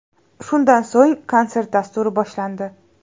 Shundan so‘ng konsert dasturi boshlandi.